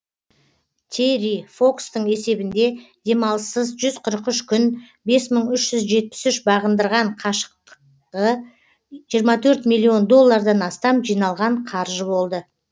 терри фокстың есебінде демалыссыз жүз қырық үш күн бес мың үш жүз жетпіс үш бағындырған қашықтығы жиырма төрт миллион доллардан астам жиналған қаржы болды